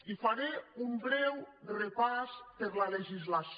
i faré un breu repàs per la legislació